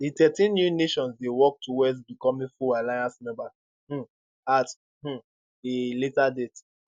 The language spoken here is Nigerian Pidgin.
di thirteen new nations dey work towards becoming full alliance members um at um a later date